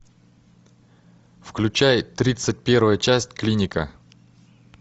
включай тридцать первая часть клиника